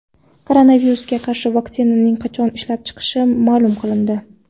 Koronavirusga qarshi vaksinaning qachon ishlab chiqilishi ma’lum qilindi.